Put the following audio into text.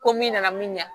Ko min nana min ɲa